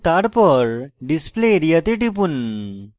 এবং তারপর display area তে টিপুন